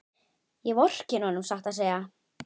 Ég vorkenni honum satt að segja.